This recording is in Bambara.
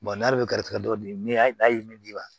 n'ale bɛ garizɛgɛ dɔ di ne ye ne d'i ma